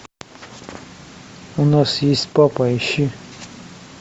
у нас есть папа ищи